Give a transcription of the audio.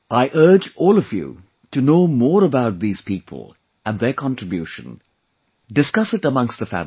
I urge all of you to know more about these people and their contribution...discuss it amongst the family